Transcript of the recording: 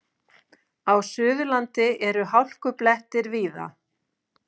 Á Suðurlandi eru hálkublettir víða